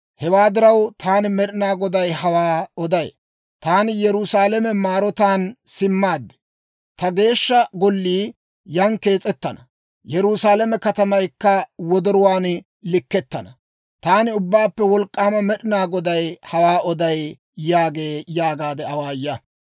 Hewaa diraw, taani Med'inaa Goday hawaa oday; taani Yerusaalame maarotaan simmaad. Ta Geeshsha Gollii yan kees'ettana; Yerusaalame katamaykka wodoruwaan likkettana. Taani Ubbaappe Wolk'k'aama Med'inaa Goday hawaa oday› yaagee» yaagaade awaaya.